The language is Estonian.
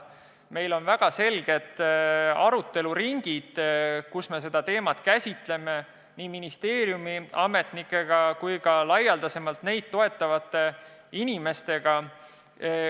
Meil on väga selged aruteluringid, kus me seda teemat käsitleme, ja seda nii ministeeriumi ametnikega kui ka laialdasemalt asjaga seotud inimestega.